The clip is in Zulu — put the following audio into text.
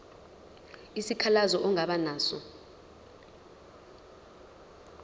isikhalazo ongaba naso